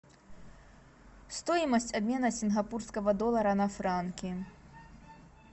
стоимость обмена сингапурского доллара на франки